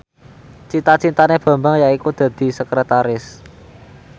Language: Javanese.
cita citane Bambang yaiku dadi sekretaris